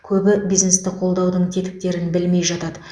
көбі бизнесті қолдаудың тетіктерін білмей жатады